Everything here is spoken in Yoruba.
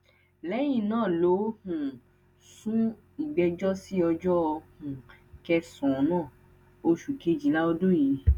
lẹyìn náà ló um sún ìgbẹjọ sí ọjọ um kẹsànán oṣù kejìlá ọdún yìí